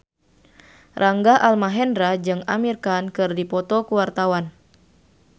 Rangga Almahendra jeung Amir Khan keur dipoto ku wartawan